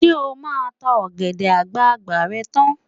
Ṣé o máa ta ọ̀gẹ̀dẹ̀ àgbààgbà rẹ tán?